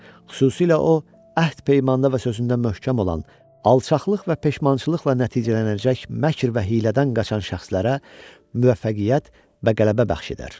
Xüsusilə o, əhd-peymanda və sözündə möhkəm olan, alçaqlıq və peşmançılıqla nəticələnəcək məkrdən və hiylədən qaçan şəxslərə müvəffəqiyyət və qələbə bəxş edər.